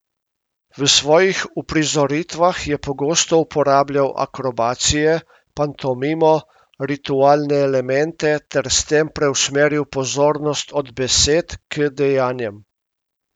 V svojih uprizoritvah je pogosto uporabljal akrobacije, pantomimo, ritualne elemente ter s tem preusmeril pozornost od besed k dejanjem.